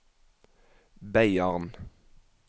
Beiarn